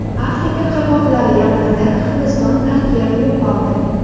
Afrika qirg‘oqlari yaqinida Hindiston tankeri yo‘qoldi.